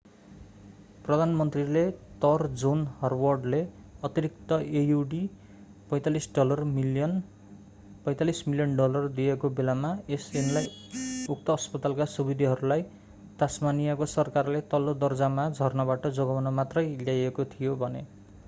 प्रधानमन्त्रीले तर जोन हवार्डले अतिरिक्त aud$45 मिलियन डलर दिएको बेलामा यस ऐनलाई उक्त अस्पतालका सुविधाहरूलाई तास्मानीयाको सरकारले तल्लो दर्जामा झर्नबाट जोगाउन मात्रै ल्याइएको थियो भने।